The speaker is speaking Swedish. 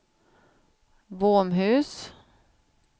Våmhus